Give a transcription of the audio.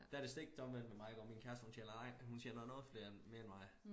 Der det stik omvendt med mig hvor min kæreste hun tjener hun tjener noget flere mere end mig